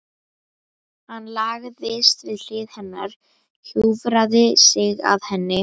Hann lagðist við hlið hennar, hjúfraði sig að henni.